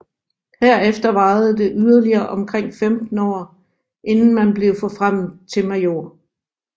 Herefter varede det yderligere omkring 15 år inden man blev forfremmet til major